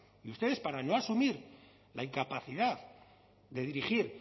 y ustedes para no asumir la incapacidad de dirigir